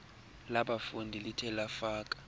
labafundi lithe lafaka